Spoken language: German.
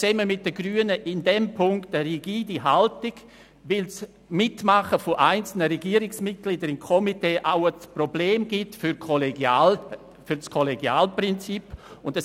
Zusammen mit den Grünen vertrete ich in diesem Punkt eine rigide Haltung, weil das Mitmachen einzelner Regierungsmitglieder in Komitees auch ein Problem für das Kollegialitätsprinzip darstellt.